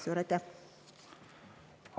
Suur aitäh!